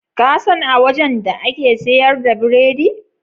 Kasan a wajan da ake siyar da biredi?